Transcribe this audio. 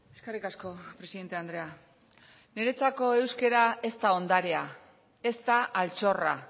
eskerrik asko presidente andrea neretzako euskera ez da ondarea ez da altxorra